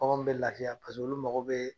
Baganw bɛ lafiya olu mago bɛ